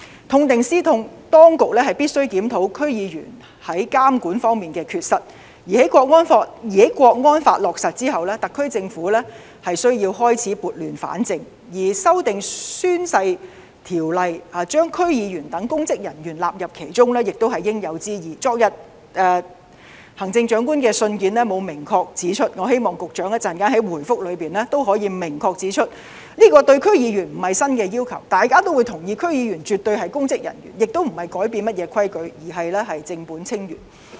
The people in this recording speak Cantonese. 痛定思痛，當局必須檢討區議員在監管方面的缺失；而在《香港國安法》落實後，特區政府需要開始撥亂反正，而修訂《宣誓及聲明條例》，把區議員等公職人員納入其中，亦是應有之義——昨天行政長官的信件沒有明確指出這項要求，我希望局長稍後在答覆中也可以明確指出——對區議員來說，這並非新要求，大家也會同意，區議員絕對是公職人員，也不是要改變甚麼規矩，而是正本清源。